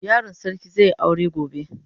Yaron sarki zai yi aure gobe.